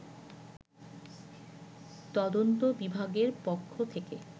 তদন্ত বিভাগের পক্ষ থেকে